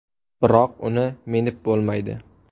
Biroq uni minib bo‘lmaydi.